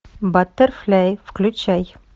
баттерфляй включай